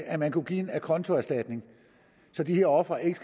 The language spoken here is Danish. at man kunne give en acontoerstatning så de her ofre ikke